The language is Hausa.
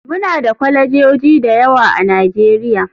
Muna da kwalejoji da yawa a nigeria.